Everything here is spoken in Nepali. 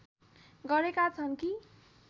गरेका छन् कि